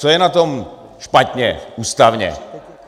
Co je na tom špatně ústavně?